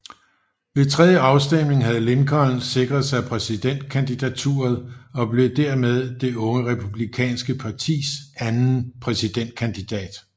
Ved tredje afstemning havde Lincoln sikret sig præsidentkandidaturet og blev dermed det unge republikanske partis anden præsidentkandidat